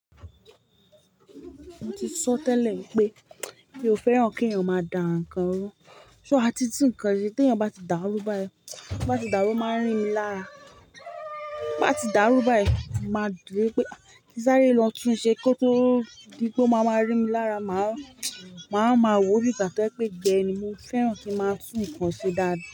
Mo ti sọ tẹ́lẹ̀ wipé mi ò fẹ́ràn kí èèyàn máa da ǹkan rú. So a ti tun ǹkan se tí èèyàn bá ti dàrú bá yi, bo bá ti dàrú o máa ń rín mi lára. Bá ti dàrú bá yìí, màá dúró pé kí sáré lọ tun ṣe kó tó di pe ó máa máa rí mi lára. Màá, màá wa ma wo bi gba to ye pé igbe ni mo fẹ́ràn kí máa tún ǹkan ṣe dáadáa.